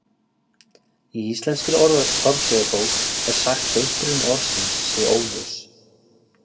Í Íslenskri orðsifjabók er sagt að uppruni orðsins sé óljós.